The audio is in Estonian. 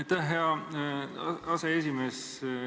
Aitäh, hea aseesimees!